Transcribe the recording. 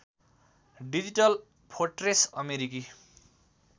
digital fortress अमेरिकी